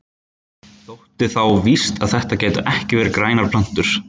Þótti þá víst að þetta gætu ekki verið grænar plöntur.